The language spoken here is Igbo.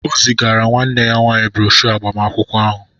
O zigara nwanne ya nwanyị broshọ agbamakwụkwọ ahụ